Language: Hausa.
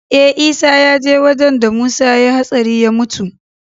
Eh isa yaje wajan da musa yayi hatsari ya mutu